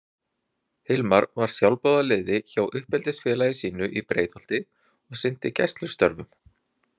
Hilmar var sjálfboðaliði hjá uppeldisfélagi sínu í Breiðholti og sinnti gæslustörfum.